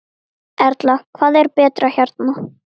Erla: Hvað er betra hérna?